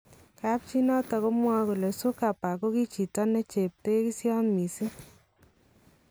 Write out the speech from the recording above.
Kapchii noton komwoe kole Zuckerberg kokichito necheptekisyot missing